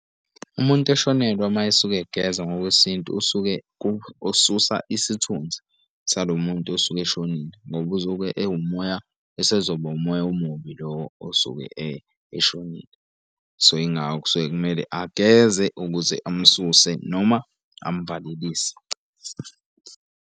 Umuntu eshonelwe mayesuke egeza ngokwesintu usuke ukususa isithunzi salo muntu osuke eshonile ngoba usuke ewumoya, esezoba umoya omubi lo osuke eshonile. So, yingakho kusuke kumele ageze ukuze amususe noma amvalelise.